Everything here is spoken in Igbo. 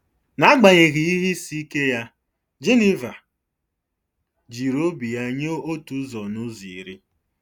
N'agbanyeghị ihe isi ike ya, Geniva jiri obi ya nye otu ụzọ n'ụzọ iri.